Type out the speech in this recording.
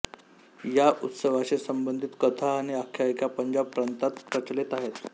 या उत्सवाशी संबंधित कथा आणि आख्यायिका पंजाब प्रांतात प्रचलित आहेत